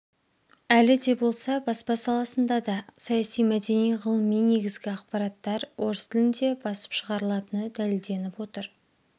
әлі де болса баспа саласында да саяси мәдени ғылыми негізгі ақпараттар орыс тілінде басым шығарылатыны дәлелденіп отыр